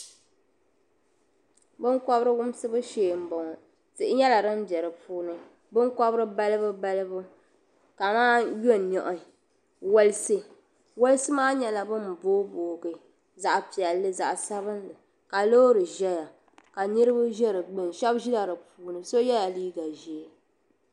Binkobiri wumsibu shee m bo ŋɔ tihi nyela din be di puuni binkobiri balibu balibu ka maa yonihi walisi walisi maa nyela ban booi booi zaɣpiɛlli zaɣsabinli ka loori ʒeya ka niribi ʒe di gbuni shɛbi ʒila di puuni so yela liiga ʒee.